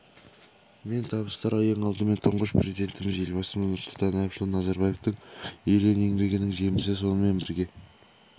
мен табыстар ең алдымен тұңғыш президентіміз елбасымыз нұрсұлтан әбішұлы назарбаевтың ерен еңбегінің жемісі сонымен бірге